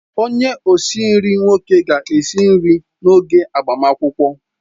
Onye osi nri nwoke ga-esi nri n'oge agbamakwụkwọ.